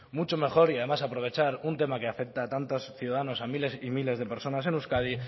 mucho mejor y además aprovechar un tema que afecta a tantos ciudadanos a miles y miles de personas en euskadi